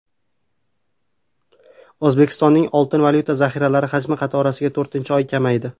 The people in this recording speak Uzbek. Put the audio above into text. O‘zbekistonning oltin-valyuta zaxiralari hajmi qatorasiga to‘rtinchi oy kamaydi.